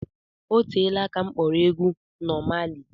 Oteela aka m kpọrọ egwu Nọ Mali